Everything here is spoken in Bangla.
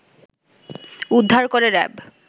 উদ্ধার করে র‌্যাব